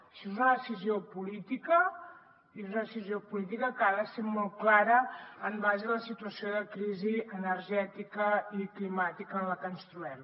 això és una decisió política i una decisió política que ha de ser molt clara en base a la situació de crisi energètica i climàtica en la que ens trobem